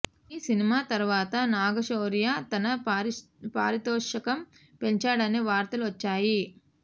ఈ సినిమా తర్వాత నాగశౌర్య తన పారితోషికం పెంచాడనే వార్తలు వచ్చాయి